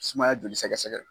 Sumaya joli sɛgɛsɛgɛ.